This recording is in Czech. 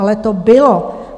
Ale to bylo.